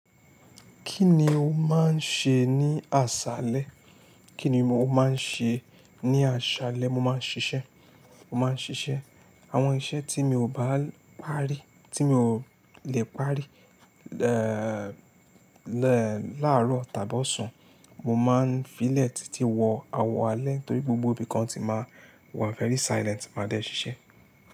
Kí ni o máa ń ṣe ní àṣálẹ́? Kí ni mo máa ń ṣe ní àṣálẹ́? Mo máa ń ṣiṣẹ́, mo máa ń ṣiṣẹ́ àwọn iṣẹ́ tí mi ò bá lè parí, tí mi ò lè parí, ẹ́ẹ̀, láàárọ̀ tàbí ọ̀sán, mo máa ń fi lẹ́ tití wọ àwọ̀ alẹ́ torí gbogbo ibìkan ti máa wọ́n very silent máa dẹ́ ṣiṣẹ́